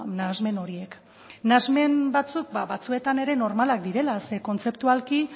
nahasmen horiek nahasmen batzuk ba batzuetan ere normalak direla zeren kontzeptualki